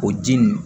O di nunnu